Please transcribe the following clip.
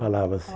Falava-se.